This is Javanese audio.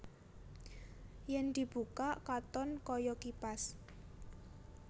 Yèn dibukak katon kaya kipas